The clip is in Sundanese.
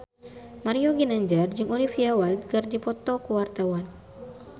Mario Ginanjar jeung Olivia Wilde keur dipoto ku wartawan